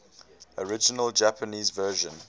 original japanese version